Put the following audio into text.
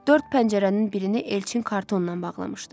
Dörd pəncərənin birini Elçin kartonla bağlamışdı.